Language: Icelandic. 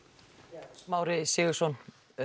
já Smári Sigurðsson